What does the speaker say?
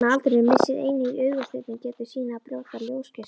Með aldrinum missir einnig augasteinninn getu sína að brjóta ljósgeislana.